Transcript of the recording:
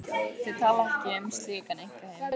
Þau tala ekki um slíkan einkaheim.